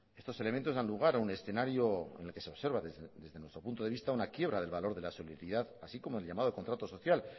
estos elementos dan lugar a un escenario en el que se observa desde nuestro punto de vista una quiebra del valor de la así como el llamado contrato social